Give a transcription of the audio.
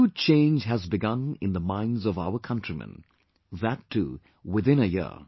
A huge change has begun in the minds of our countrymen...that too within a year